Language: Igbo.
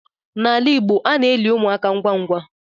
N'ala Igbo ana eli ụmụaka ngwa ngwa